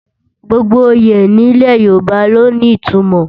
Gbogbo oyè nílẹ̀ Yorùbá ló ní ìtumọ̀